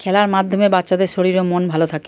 খেলার মাধ্যমে বাচ্চাদের শরীর ও মন ভালো থাকে।